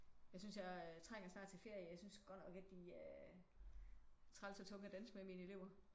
Jeg synes jeg trænger snart til ferie. Jeg synes godt nok at de er træls og tunge at danse med mine elever